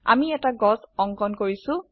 আমি এটি গাছ অঙ্কন কৰিছো160